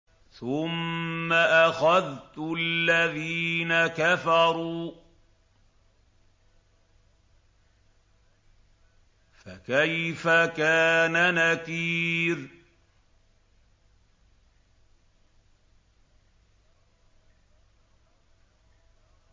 ثُمَّ أَخَذْتُ الَّذِينَ كَفَرُوا ۖ فَكَيْفَ كَانَ نَكِيرِ